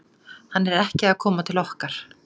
Hann er ekki að koma til okkar.